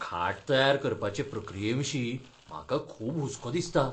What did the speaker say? खाट तयार करपाचे प्रक्रियेविशीं म्हाका खूब हुस्को दिसता.